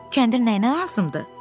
Kəndir nəyinə lazımdır?